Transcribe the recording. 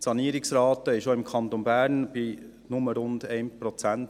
Die Sanierungsrate liegt auch im Kanton Bern nur bei rund 1 Prozent.